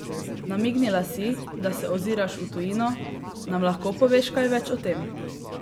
Namignila si, da se oziraš v tujino, nam lahko poveš kaj več o tem?